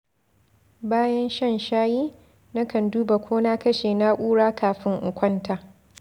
Bayan shan shayi, nakan duba ko na kashe na’ura kafin in kwanta.